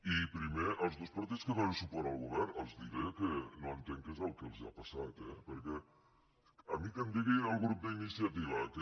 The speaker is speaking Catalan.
i primer als dos partits que donen suport al govern els diré que no entenc què és el que els ha passat eh perquè a mi que em di·gui el grup d’iniciativa que